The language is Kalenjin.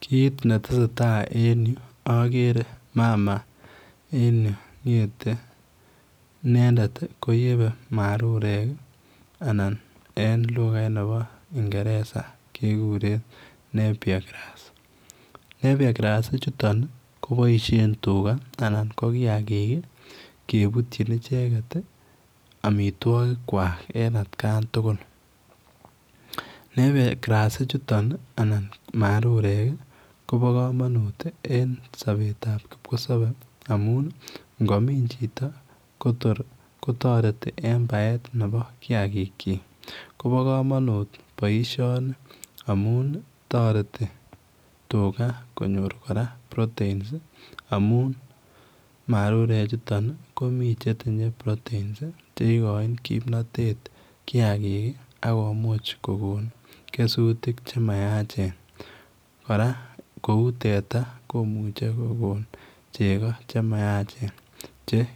Kit ne tesetai en Yuu agere mama en Yuu ngethe inendet ko yebei marurek anan ko en lugaiit nebo ingereza kegureen [Napier grass] Napier grass ichutoon kobaisheen tugaah anan ko kiagik ii kebutyiin ichegeet ii amitwagiik kwaak en at kaan tugul [Napier grass] ichutoon ii anan marurek ii kobaa kamanuut en kipkosabe amuun ngo miin chitoo ko toor kotaretii en baet nebo kiagiik kyiik kobaa kamanuut boisioni amuun taretii tugaah konyoor kora proteins marurek chutoon ii komii che tinyei [proteins] ii che again kimnatet kiagik ii akomuuch kogoon kesutiik che mayacheen, kora kora kouu teta komuchei kogoon chegoo che mayacheen,